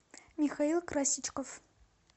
михаил красичков